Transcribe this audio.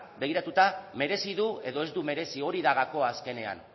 begiratuta merezi du edo ez du merezi hori da gakoa azkenean